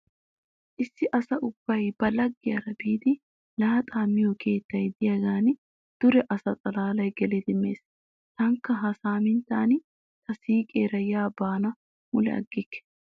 Issi asa ubbay ba laggiyara biidi laaxaa miyo keettay diyagan dure asa xallay gelidi mees. Taanikka ha saaminttan ta siiqeera ya beennan mule aggikke.